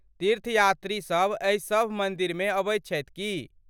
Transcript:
तीर्थ यात्री सभ एहि सभ मन्दिरमे अबैत छथि की?